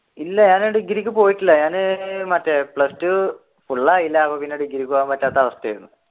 ഇല്ല ഞാൻ ഡിഗ്രിക്ക് പോയിട്ടില്ല ഞാൻ മറ്റേ plus two ആയില്ല അപ്പൊ പിന്നെ ഡിഗ്രിക്ക് പോകാൻ പറ്റാത്ത അവസ്ഥയാണ്